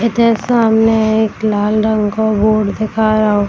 इधर सामने एक लाल रंग का बोर्ड दिखाया --